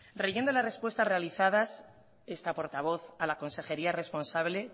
releyendo las respuestas realizadas esta portavoz a la consejería responsable